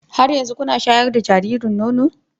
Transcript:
Har yanzu kuna shayar da jaririn nono?